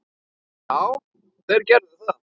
Já, þeir gerðu það.